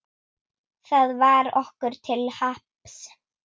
Það varð okkur til happs.